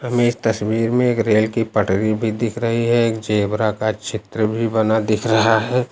हमें इस तस्वीर में एक रेल की पटरी भी दिख रही है। एक जेब्रा का चित्र भी बना दिख रहा है।